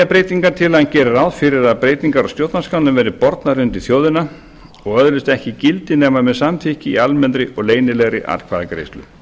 breytingartillagan gerir ráð fyrir að breytingar á stjórnarskránni verði bornar undir þjóðina og öðlist ekki gildi nema með samþykki í almennri og leynilegri atkvæðagreiðslu